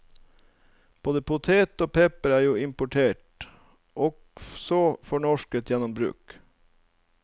Både potet og pepper er jo importert, og så fornorsket gjennom bruk.